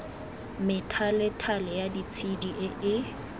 methalethale ya ditshedi e e